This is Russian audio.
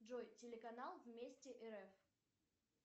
джой телеканал вместе рф